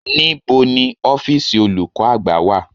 Níbo ni ọ́fíìsì olùkọ́ àgbà wà?